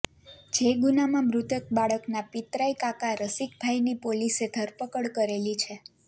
જે ગુનામાં મૃતક બાળકના પિતરાઈ કાકા રસિકભાઈની પોલીસે ધરપકડ કરેલી છે